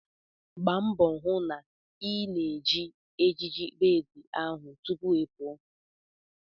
Gba mbo hu na ị na-eji ejiji bed ahụ tupu ị pụọ!